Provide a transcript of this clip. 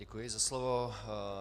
Děkuji za slovo.